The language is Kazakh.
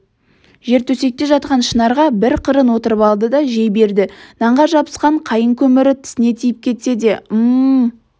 жер төсекте жатқан шынарға бір қырын отырып алды да жей берді нанға жабысқан қайың көмірі тісіне тиіп кетсе ым-м-м